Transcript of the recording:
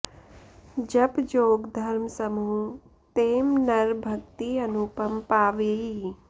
जप जोग धर्म समूह तें नर भगति अनुपम पावई